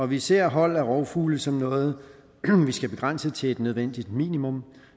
vi ser hold af rovfugle som noget vi skal begrænse til et nødvendigt minimum og